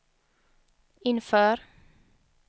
inför